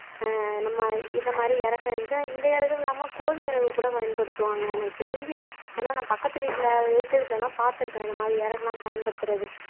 ஆஹ் நம்ம இத மாதிரி இறக்க இதான் இந்த இறகு இல்லாம கோழி இறகு கூட பயன்படுத்துவாங்க எனக்கு தெரிஞ்சு ஏன்னா நான் பக்கத்து வீட்ல எதுத்த வீட்ல எல்லாம் பாத்திருக்கேன் இந்த மாதிரி இறகுலாம் பயன்படுத்துறது